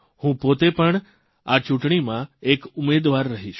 હું પોતે પણ આ ચૂંટણીમાં એક ઉમેદવાર રહીશ